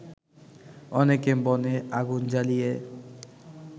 অনেকে বনে আগুন জ্বালিয়ে